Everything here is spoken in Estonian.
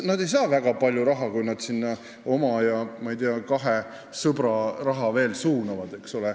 Nad ei saa väga palju raha, kui nad sinna oma ja veel kahe sõbra raha suunavad.